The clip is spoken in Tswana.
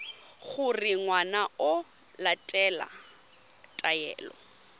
gore ngwana o latela taelo